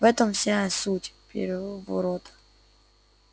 в этом вся суть переворота